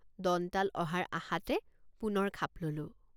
দন্তাল অহাৰ আশাতে পুনৰ খাপ ললোঁ।